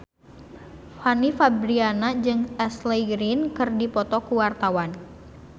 Fanny Fabriana jeung Ashley Greene keur dipoto ku wartawan